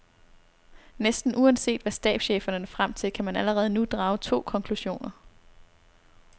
Næsten uanset hvad stabscheferne når frem til, kan man allerede nu drage to konklusioner.